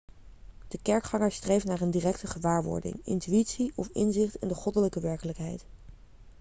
de kerkganger streeft naar een directe gewaarwording intuïtie of inzicht in de goddelijke werkelijkheid